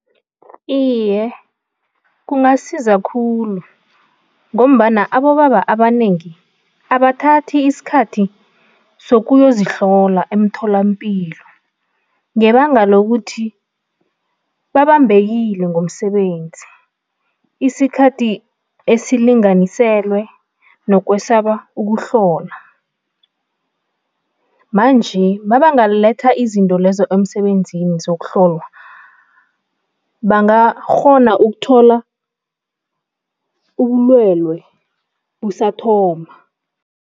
Iye, kungasiza khulu ngombana abobaba abanengi abathathi isikhathi sokuyozihlola emtholampilo ngebanga lokuthi babambekile ngomsebenzi, isikhathi esilinganiselwe nokwesaba ukuhlola, manje mabangaletha izinto lezo emsebenzini zokuhlolwa, bangakghona ukuthola ubulwelwe busathoma.